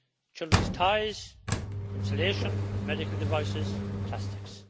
Children's toys, insulation, medical devices plastics.